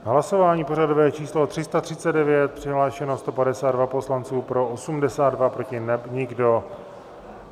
Hlasování pořadové číslo 339, přihlášeno 152 poslanců, pro 82, proti nikdo.